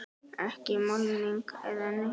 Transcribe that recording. Ekki málning eða neitt.